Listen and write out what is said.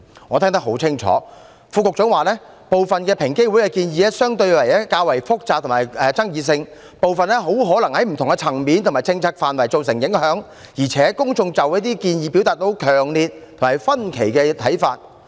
我聽得很清楚，副局長指平機會提出的部分建議相對較複雜及有爭議性，有部分很可能在不同層面及政策範圍造成影響，而且公眾就這些建議表達了強烈及分歧的看法。